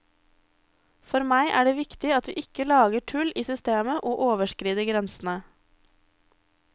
For meg er det viktig at vi ikke lager tull i systemet og overskrider grensene.